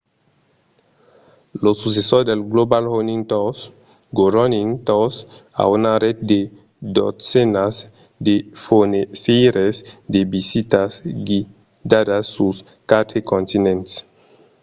lo successor de global running tours go running tours a una ret de dotzenas de fornisseires de visitas guidadas sus quatre continents